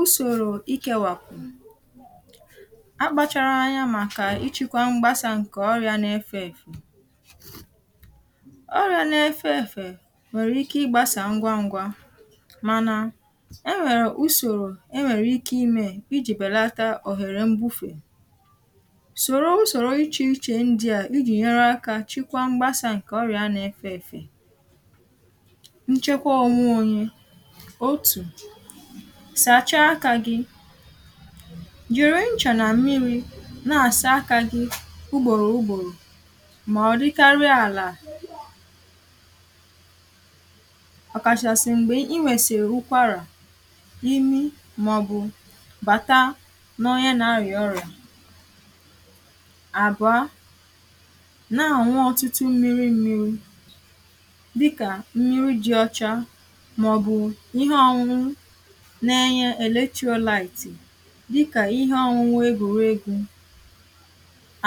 ùsòrò ịkėwàpụ akpachara anya màkà ịchịkwa mgbasà ǹkè ọrịa nà-efė èfè ọrịa nà-efė èfè nwèrè ike ịgbasà ngwa ngwa mànà e nwèrè ùsòrò e nwèrè ike imė iji̇ bèlata òhèrè mbufe sòrò ùsòrò ichè ichè ndia iji̇ nyere akȧ chịkwa mgbasà ǹkè ọrìà nà-efė èfè nchekwa onwe onye otu sàchaa akȧ gị̇ jìri ncha nà mmiri̇ na-àsa akȧ gị̇ ugbòrò ugbòrò mà ọ̀dịkarị àlà ọkachasị mgbe ị nwere ụkwara imi maọbụ bata ná onye na-arịa ọrịa abụọ na-añụ ọtụtụ mmiri mmiri dịka mmiri dị ọcha maọbụ ihe ọṅụṅụ Na-Enye electrolyte dịkà ihe ọṅụṅụ egòregò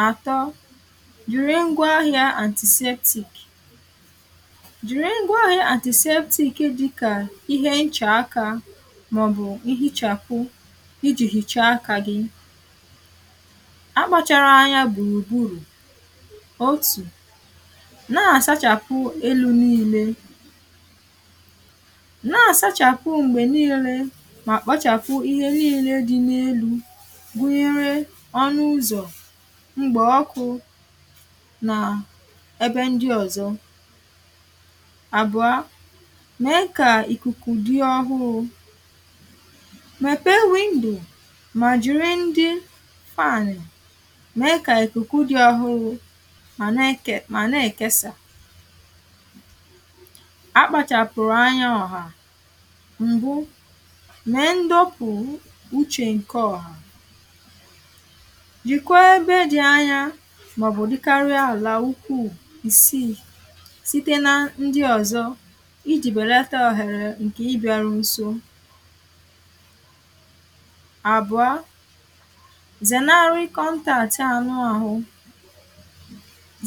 àtọ jìrì ngwa ahịȧ antisaktik jìrì ngwa ahịȧ antisaktik dị kà ihe nchà akȧ màọ̀bụ̀ ihichàpụ i ji̇ hìchaa akȧ gị akpȧchàrà anya gbùrù gburù otù na-àsachàpụ elu niilė nà asachapụ mgbe niilė ma kpachapụ ihe niile dị n’elu̇ gụ̀nyere ọnụ̇ ụzọ̀ mgbè ọkụ̇ nà èbe ndị ọ̀zọ àbụ̀ọ mee kà ìkùkù dị ọhụrụ̇ mepee windò mà jìrì ndị fànị̀ mee kà ìkùkù dị ọhụrụ̇ mà na ekè.. mà na èkesà akpachàpụ̀rụ̀ anya ọ̀hà m̀bụ mee ndọpụ uche nke ọha jìkwa ebe dị̀ anya màọ̀bụ̀ dịkarịa àlà ukwù ìsii site nà ndị ọ̀zọ ijì bèlata ọ̀hèrè ǹkè ịbị̇aru nsò àbụ̀ọ zènaarụ̇ kọntàatị anụ ahụ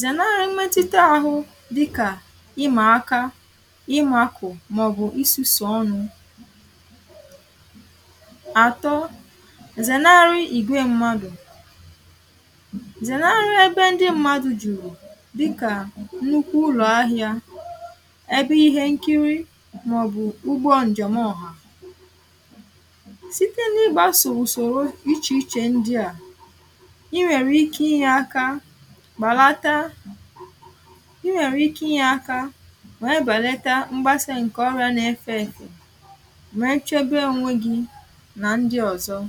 zènaarụ̀ mmetụta ahụ dịkà ịmà aka ịmakụ̀ màọ̀bụ̀ ịsusu ọnụ àtọ zènarị ị̀gwe mmadụ̀ zènarị ebe ndị mmadụ̀ jùrù dịkà nnukwu ụlọ̀ ahịa ebe ihe nkiri màọ̀bụ̀ ugbo njem ọhà site n’ịgbasò usòro ichè ichè ndị à ị nwèrè ike ịnye aka bàlata ị nwèrè ike ịnye aka wee bàleta mgbasa ǹkè ọrịȧ n’efe efe wee chebe onwe gị nà ndị̀ ọzọ̀